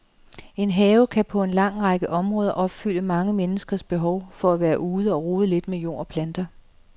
En have kan på en lang række områder opfylde mange menneskers behov for at være ude og rode lidt med jord og planter.